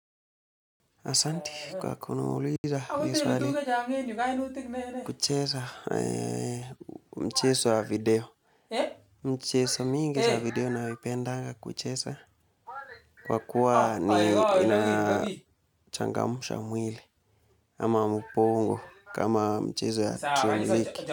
Asanti kwa kuniuliza hii swali, kucheza mchezo wa video, mchezo mingi za video nayoipendaga kucheza, kwa kuwa ni inachangamsha mwili, ama ubongo kama mchezo ya dream ligi.